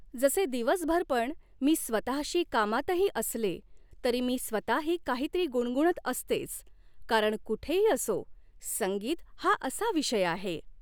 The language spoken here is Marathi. जसे दिवसभर पण मी स्वतःशी कामातही असले तरी मी स्वतःही काहीतरी गुणगुणत असतेच कारण कुठेही असो संगीत हा असा विषय आहे